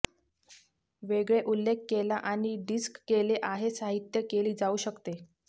वेगळे उल्लेख केला आणि डिस्क केले आहे साहित्य केली जाऊ शकते